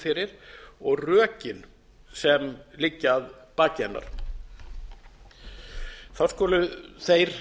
fyrir og rökin sem liggja að baki hennar þá skulu þeir